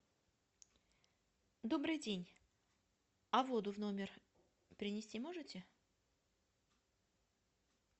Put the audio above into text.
добрый день а воду в номер принести можете